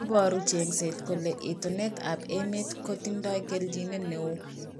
Iparu chengset kole itonet ab emet ko tindoi kelnjinet neo